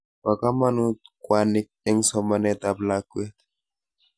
Po kamut kwanik eng' somanet ap lakwet.